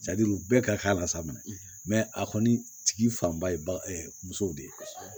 bɛɛ ka k'a la sa a kɔni tigi fanba ye musow de ye